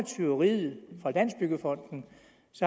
tyveriet fra landsbyggefonden